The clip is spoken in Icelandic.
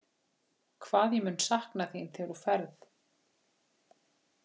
Hvað ég mun sakna þín þegar þú ferð.